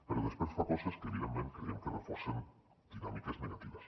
però després fa coses que evidentment creiem que reforcen dinàmiques negatives